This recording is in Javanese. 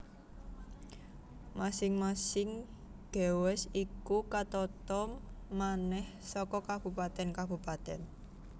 Masing masing gewest iku katata manèh saka kabupatèn kabupatèn